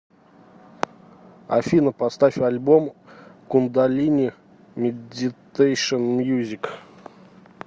афина поставь альбом кундалини медитэйшн мьюзик